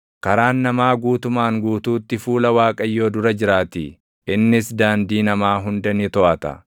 Karaan namaa guutumaan guutuutti fuula Waaqayyoo dura jiraatii; innis daandii namaa hunda ni toʼata.